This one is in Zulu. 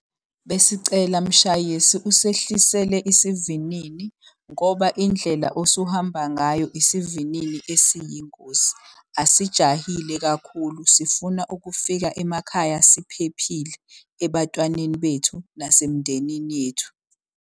Besicela mshayesi usehlisele isivinini ngoba indlela osuhamba ngayo isivinini esiyingozi. Asijahile kakhulu sifuna ukufika emakhaya siphephile, ebatwaneni bethu nasemndenini yethu.